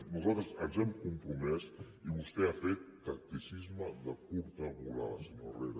nosaltres ens hi hem compromès i vostè ha fet tacticisme de curta volada senyor herrera